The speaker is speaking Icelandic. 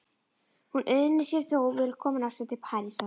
Hún unir sér þó vel komin aftur til Parísar.